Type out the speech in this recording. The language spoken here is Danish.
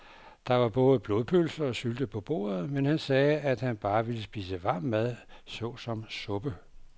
Der var både blodpølse og sylte på bordet, men han sagde, at han bare ville spise varm mad såsom suppe.